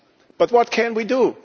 But what can we do?